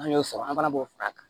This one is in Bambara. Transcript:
An y'o sɔrɔ an fana b'o fara a kan